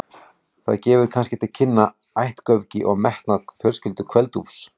Það gefur kannski til kynna ættgöfgi og metnað fjölskyldu Kveld-Úlfs.